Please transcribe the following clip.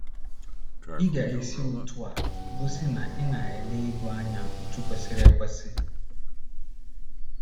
Ị ga - esi otú a gosi na ị na - ele ego anya otú kwesịrị ekwesị.